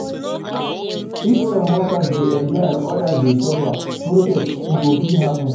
If some workers dey enjoy and others dey suffer, protest go fit happen.